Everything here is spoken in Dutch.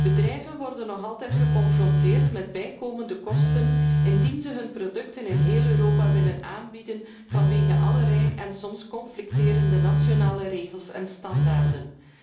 Bedrijven worden nog altijd geconfronteerd met bijkomende kosten, wanneer zij hun producten in heel Europa willen aanbieden vanwege allerlei en soms conflicterende nationale regels en standaarden.